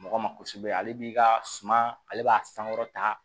Mɔgɔ ma kosɛbɛ ale b'i ka suma ale b'a sankɔrɔta